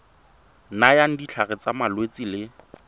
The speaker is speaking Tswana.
nayang ditlhare tsa malwetse le